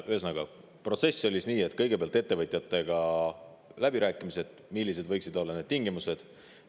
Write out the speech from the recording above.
Ühesõnaga, protsess käis nii, et kõigepealt olid ettevõtjatega läbirääkimised, millised võiksid olla tingimused.